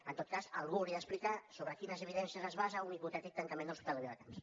en tot cas algú hauria d’explicar sobre quines evidències es basa un hipotètic tancament de l’hospital de viladecans